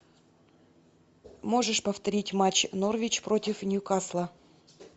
можешь повторить матч норвич против ньюкасла